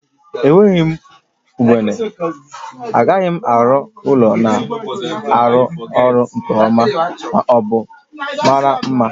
Enweghị ugbene, ị gaghị arụ ụlọ na-arụ ọrụ nke ọma ma ọ bụ mara mma